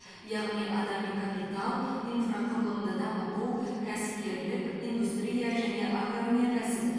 яғни адами капитал инфрақұрылымды дамыту кәсіпкерлік индустрия және агроөнеркәсіп